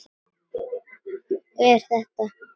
Er þetta.?